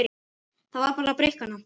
Það varð að breikka hana.